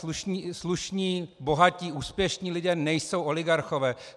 Slušní, bohatí, úspěšní lidé nejsou oligarchové.